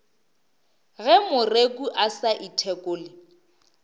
ge moreku a sa ithekole